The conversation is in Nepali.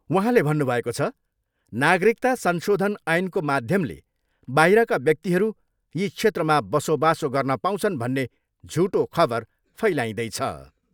वहाँले भन्नुभएको छ, नागरिकता संशोधन ऐनको माध्यमले बाहिरका व्यक्तिहरू यी क्षेत्रमा बसोबासो गर्न पाउँछन् भन्ने झुटो खबर फैलाइँदैछ।